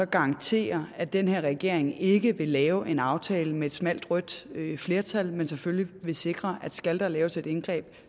garantere at den her regering ikke vil lave en aftale med et smalt rødt flertal men selvfølgelig vil sikre at skal der laves et indgreb